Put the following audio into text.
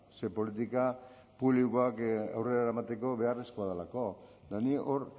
ze politika publikoak eramateko beharrezkoa delako eta ni hor